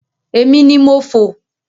Èmi ni mo fò.